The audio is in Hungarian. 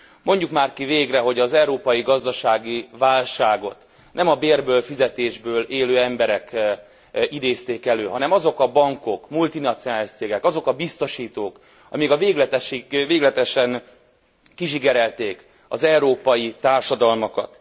Mondjuk már ki végre, hogy az európai gazdasági válságot nem a bérből, fizetésből élő emberek idézték elő, hanem azok a bankok, multinacionális cégek, azok a biztosítók, amik végletesen kizsigerelték az európai társadalmakat.